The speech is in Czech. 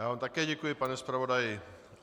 Já vám také děkuji, pane zpravodaji.